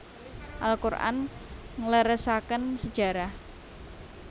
Al Qur an ngleresaken sejarah